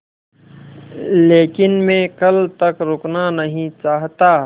लेकिन मैं कल तक रुकना नहीं चाहता